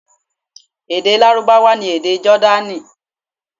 Èdè Lárúbáwá ni èdè Jọ́dánì.